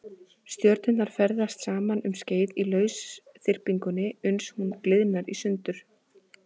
Stjörnurnar ferðast saman um skeið í lausþyrpingunni uns hún gliðnar í sundur.